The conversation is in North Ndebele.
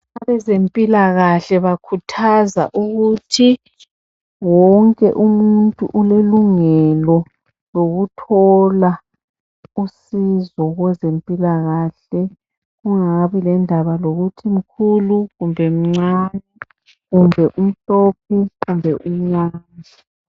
Abazempilakahle bakhuthaza ukuthi wonke umuntu ulelungelo lokuthola usizo kwezempilakahle kungabi lendaba lokuthi umkhulu kumbe umncane kumbe umhlophe kumbe umnyama.